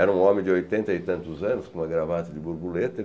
Era um homem de oitenta e tantos anos, com uma gravata de borboleta.